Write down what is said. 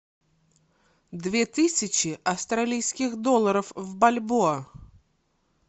две тысячи австралийских долларов в бальбоа